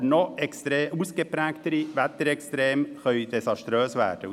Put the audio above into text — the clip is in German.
Aber noch ausgeprägtere Wetterextreme können desaströse Folgen haben.